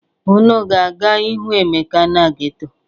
Unu ga-aga ịhụ Emeka na geto?